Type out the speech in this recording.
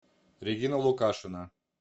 регина лукашина